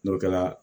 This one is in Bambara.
N'o kɛra